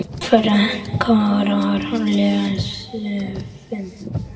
Frekara lesefni